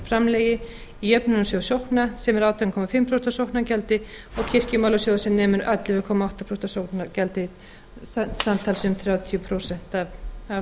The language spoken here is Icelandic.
framlagi í jöfnunarsjóð sókna sem er átján og hálft prósent af sóknargjaldi og kirkjumálasjóð sem nemur um ellefu komma átta prósent af sóknargjaldi samtals um þrjátíu prósent af